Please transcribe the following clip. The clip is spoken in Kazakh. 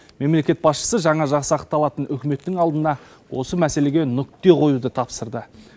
мемлекет басшысы жаңа жасақталатын үкіметтің алдына осы мәселеге нүкте қоюды тапсырды